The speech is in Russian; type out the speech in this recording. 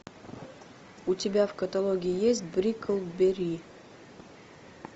у тебя в каталоге есть бриклберри